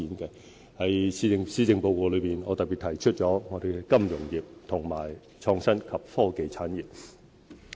在施政報告內，我特別提出本港的金融業和創新及科技產業。